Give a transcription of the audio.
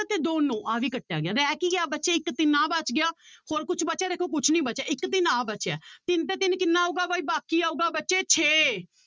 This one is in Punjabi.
ਤੇ ਦੋ ਨੋਂ ਆਹ ਵੀ ਕੱਟਿਆ ਗਿਆ ਰਹਿ ਕੀ ਗਿਆ ਬੱਚੇ ਇੱਕ ਤਿੰਨ ਆਹ ਬਚ ਗਿਆ ਹੋਰ ਕੁੁਛ ਬਚਿਆ ਦੇਖੋ ਕੁਛ ਨੀ ਬਚਿਆ ਇੱਕ ਤਿੰਨ ਆਹ ਬਚਿਆ ਹੈ ਤਿੰਨ ਤੇ ਤਿੰਨ ਕਿੰਨਾ ਆਊਗਾ ਬਾਈ ਬਾਕੀ ਆਊਗਾ ਬੱਚੇ ਛੇ